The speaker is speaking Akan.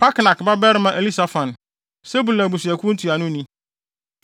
Parknak babarima Elisafan, Sebulon abusuakuw ntuanoni;